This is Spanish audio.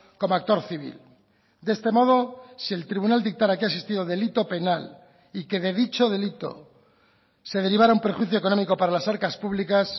como actor civil de este modo si el tribunal dictara que ha existido delito penal y que de dicho delito se derivara un perjuicio económico para las arcas públicas